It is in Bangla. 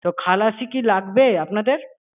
তো খালাসি কি লাগবে আপনাদের?